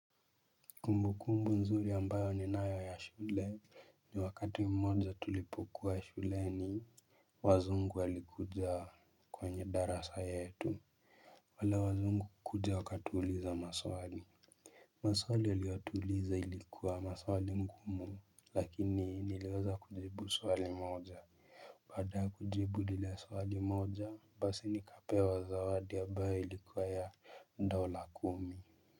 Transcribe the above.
Kumbukumbu nzuri ambayo ninayo ya shule ni wakati mmoja tulipokuwa shuleni. Wazungu walikuja kwenye darasa yetu. Wale wazungu kukuja wakatuuliza maswali. Maswali waliyotuuliza ilikuwa maswali ngumu lakini niliweza kujibu swali moja. Baada ya kujibu lile swali moja basi nikapewa zawadi ambaye ilikuwa ya dola kumi.